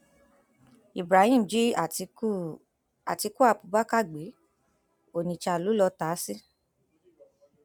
ibrahim jí àtiku àtiku abubakar gbé onitsha lọ lọọ ta á sí